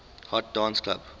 hot dance club